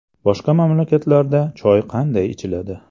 Boshqa mamlakatlarda choy qanday ichiladi?